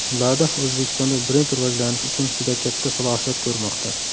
Lada O‘zbekistonda brend rivojlanishi uchun juda katta salohiyat ko‘rmoqda.